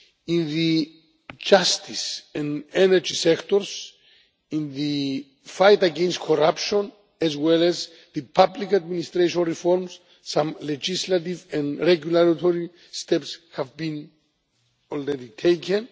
In the justice and energy sectors, in the fight against corruption, as well as the public administration reforms, some legislative and regulatory steps have been already taken.